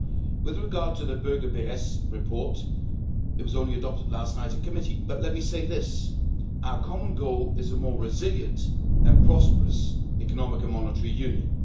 With regard to the Böge Berès report, it was only adopted last night in committee, but let me say this our common goal is a more resilient and prosperous economic and monetary union.